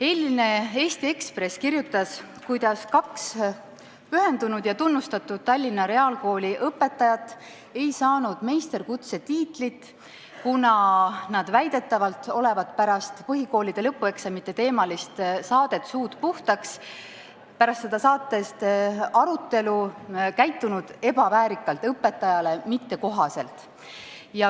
Eilne Eesti Ekspress kirjutas, kuidas kaks pühendunud ja tunnustatud Tallinna Reaalkooli õpetajat ei saanud meisterõpetaja kutset, kuna nad väidetavalt olevat pärast põhikooli lõpueksamite teemalist saadet "Suud puhtaks" toimunud arutelul käitunud ebaväärikalt, õpetajale mittekohaselt.